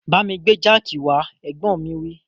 Bámi gbé jáàkì wá, Ẹ̀gbọ́n mi wí